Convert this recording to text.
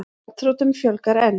Gjaldþrotum fjölgar enn